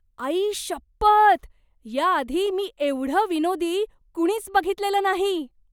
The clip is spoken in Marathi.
आईशप्पथ! याआधी मी एवढं विनोदी कुणीच बघितलेलं नाही!